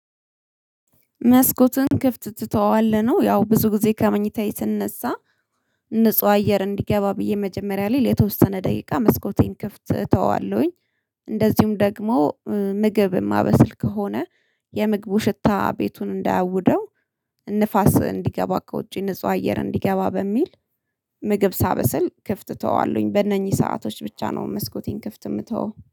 መስኮቱን ክፍት ትተዋለህ ነው ያው ብዙ ጊዜ ከመኝታዬ ስነሳ ንጹህ አየር እንዲገባ ብዬ መጀመሪያ ላይ ለተወሰነ ደቂቃ መስኮቴን ክፍት እተወዋለሁኝ። እንደዚሁም ደግሞ ምግብ የማበስል ከሆነ የምግቡ ሽታ ቤቱን እንዳያውደው ንፋስ እንዲገባ ከውጪ ንጹህ አየር እንዲገባ በሚል ምግብ ሳበስል ክፍት እተወዋለሁኝ በእነኚህ ሰአቶች ብቻ ነው መስኮቴን ክፍት የምተወው